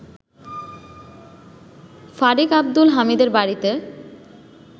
ফারিক আব্দুল হামিদের বাড়িতে